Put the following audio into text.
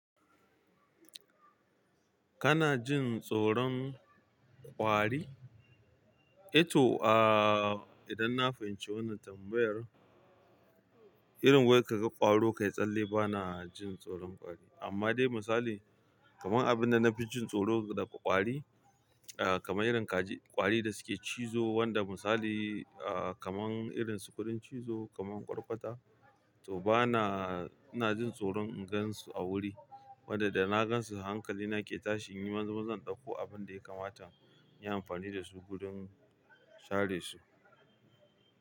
Kana jin tsoron kwari? Eto, idan na fahimci wannan tambayar, irin wai kaga ƙwaro ka yi tsalle, bana jin tsoron ƙwari. Amma dai misali, kaman abin da na fi jin tsoro daga ƙwari, kamar irin ƙwari da suke cizo, wanda misali, kamar irin su kuɗin cizo kamar ƙwarƙwata, to bana-- ina jin tsoron in gansu a wuri. Wadda da na gansu hankalina ke tashi inyi maza maza in ɗauko abunda ya kamata inyi amfani dasu wurin share su.